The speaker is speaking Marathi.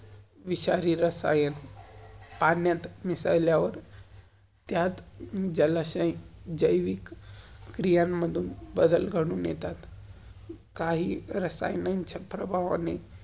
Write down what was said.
विषारी रसायन, पाण्यात मिसल्यावर त्यात जलाशय~जैविक क्रियामधुन बदल घडून येतात. काही रासयानांच्या प्रभावाने.